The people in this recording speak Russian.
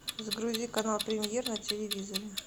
загрузи канал премьер на телевизоре